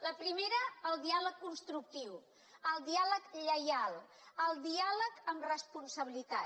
la primera el diàleg constructiu el diàleg lleial el diàleg amb responsabilitat